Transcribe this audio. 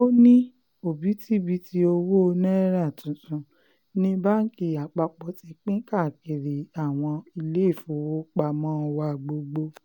ó ní òbítíbitì owó náírà tuntun ní báńkì àpapọ̀ ti pín káàkiri àwọn iléèfowópamọ́ wa gbogbo